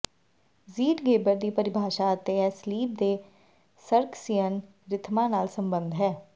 Zeitgeber ਦੀ ਪਰਿਭਾਸ਼ਾ ਅਤੇ ਇਹ ਸਲੀਪ ਦੇ ਸਰਕਸੀਅਨ ਰਿਥਮਾਂ ਨਾਲ ਸਬੰਧਤ ਹੈ